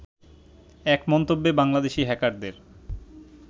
এক মন্তব্যে বাংলাদেশি হ্যাকারদের